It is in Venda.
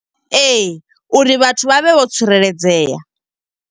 Ee, uri vhathu vha vhe vho tsireledzea.